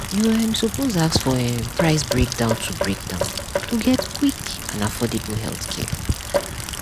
you um suppose ask for um price breakdown to breakdown to get quick and affordable healthcare.